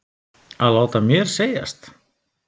Að láta mér segjast?